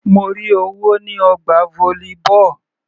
Mo rí owó ní ọgbà volleyball.